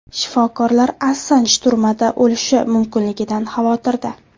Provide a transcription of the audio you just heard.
Shifokorlar Assanj turmada o‘lishi mumkinligidan xavotirda .